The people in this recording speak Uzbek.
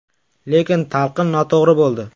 Lekin talqin noto‘g‘ri bo‘ldi.